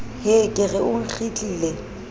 hee ke re o nkgitlile